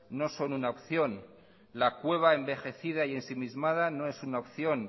no son una opción la cueva envejecida y ensimismada no es una opción